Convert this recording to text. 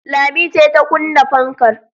Lami ce ta kunna fankar